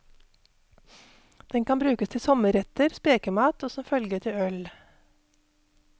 Den kan brukes til sommerretter, spekemat og som følge til øl.